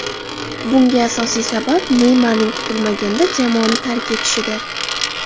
Bunga asosiy sabab Neymarning kutilmaganda jamoani tark etishidir.